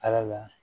Ala la